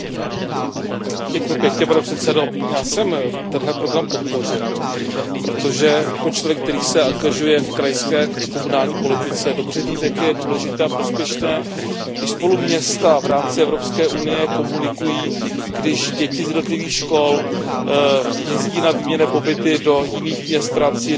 Pane předsedající, já jsem tento program podpořil, protože jako člověk, který se angažuje v krajské a komunální politice, dobře vím, jak je důležité a prospěšné, když spolu města v rámci Evropské unie komunikují, když děti z jednotlivých škol jezdí na výměnné pobyty do jiných měst v rámci jiného státu Evropské unie.